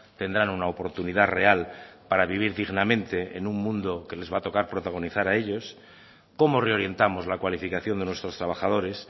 tendrán una oportunidad real para vivir dignamente en un mundo que les va a tocar protagonizar a ellos cómo reorientamos la cualificación de nuestros trabajadores